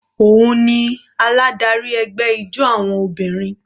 Òun ni aládarí ẹgbẹ́ ijó àwọn obìnrin.